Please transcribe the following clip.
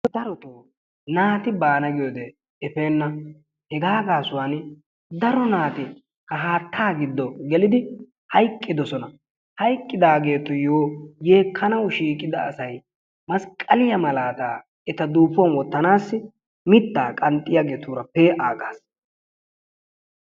Darotoo naati baana yaagiyode efeenna. Hegaa gaasuwan daro naati ha haattaa giddo gelidi hayiqqidosona. Hayqqidaageetuyyo yeekkanawu shiiqida asay masqqaliya malaataa eta duufuwan wottanaassi mittaa qanxxiyageetuura pee'aaggaas.